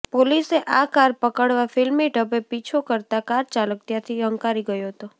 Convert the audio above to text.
પોલીસે આ કાર પકડવા ફિલ્મી ઢબે પીછો કરતા કાર ચાલક ત્યાંથી હંકારી ગયો હતો